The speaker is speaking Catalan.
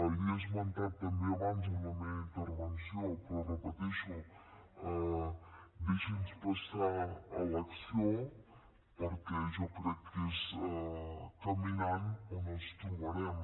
l’hi he esmentat també abans en la meva intervenció però ho repeteixo deixi’ns passar a l’acció perquè jo crec que és caminant on els trobarem